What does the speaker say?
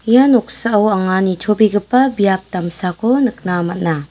ia noksao anga nitobegipa biap damsako nikna man·a.